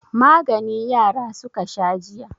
Magani yara suka sha jiya.